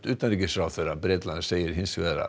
utanríkisráðherra Bretlands segir hins vegar að